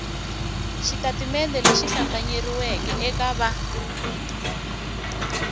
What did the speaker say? xitatimende lexi hlambanyeriweke eka va